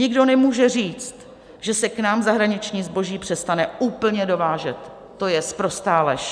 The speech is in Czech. Nikdo nemůže říct, že se k nám zahraniční zboží přestane úplně dovážet, to je sprostá lež.